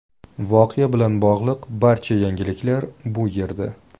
Voqea bilan bog‘liq barcha yangiliklar bu yerda .